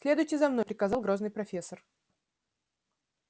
следуйте за мной приказал грозный профессор